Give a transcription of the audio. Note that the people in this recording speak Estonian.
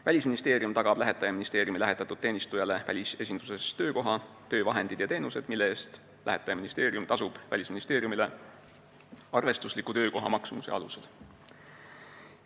Välisministeerium tagab lähetaja ministeeriumi lähetatud teenistujale välisesinduses töökoha, töövahendid ja teenused, mille eest lähetaja ministeerium tasub Välisministeeriumile arvestusliku töökoha maksumuse alusel.